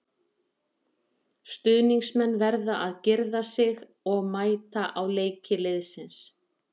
Stuðningsmenn verða að girða sig og mæta á leiki liðsins.